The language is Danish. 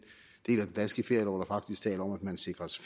danske ferielov der faktisk taler om at man sikres